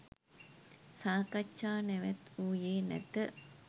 සාකච්ජා නැවැත්වූයේ නැත